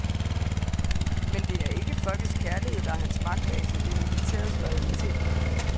Men det er ikke folkets kærlighed, der er hans magtbase, det er militærets loyalitet.